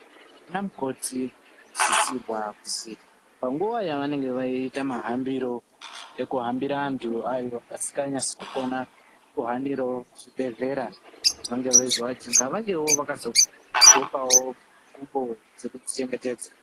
Ana mukoti vanosisirwa kuzi, panguwa yavanenge veiita mahambiro, ekuhambira antu avo vasikanyasi kukona kuhaniravo zvibhedhlera kuti vange veizovajunga, vangewo vakazogqokawo ngubo dzekudzichengetedza.